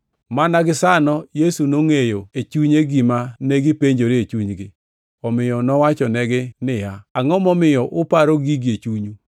Mana gisano Yesu nongʼeyo e chunye gima negipenjore e chunygi, omiyo nowachonegi niya, “Angʼo momiyo uparo gigi e chunyu?